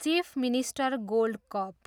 Chief minister gold cup.